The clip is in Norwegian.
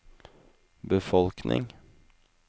befolkning